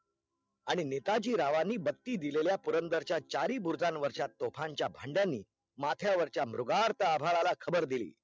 आणि नेताजी रावांनी बत्ती दिलेल्या पुरंदर च्या चारही भुर्जान वरच्या तोफांच्या भांड्यांनी माथ्यावरच्या मुघार्थ आभाळाला खबर दिली